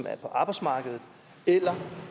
er på arbejdsmarkedet eller